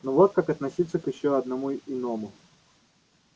но вот как относиться к ещё одному иному